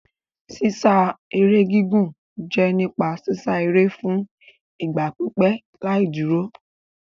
Sísá eré gígùn jẹ́ nípa sísá eré fún ìgbà pípẹ́ láì dúró.